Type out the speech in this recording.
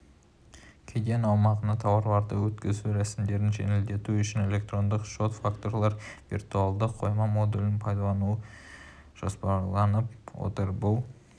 кеден аумағына тауарларды өткізу рәсімдерін жеңілдету үшін электронды шот-фактуралар виртуалды қойма модулін пайдалану жоспарланып отыр бұл